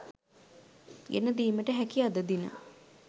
ගෙන දීමට හැකි අද දින